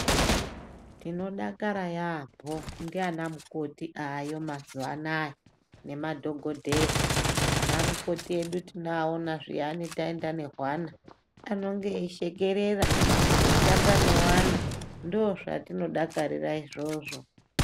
Tinodakara yaamho ndaana mukoti aayo mazuwa anaya nemadhokodheya, anamukoti edu tinoaona zviyani taenda nehwana anonga veishekerera eitamba ne ana, ndoozvatinodakarira izvozvo.